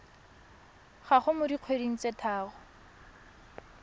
gago mo dikgweding tse tharo